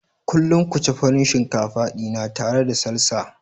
Kullum ku ci Farin shinkafa dina tare da Salsa.